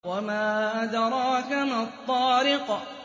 وَمَا أَدْرَاكَ مَا الطَّارِقُ